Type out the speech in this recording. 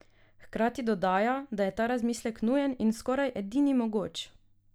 Hkrati dodaja, da je ta razmislek nujen in skoraj edini mogoč.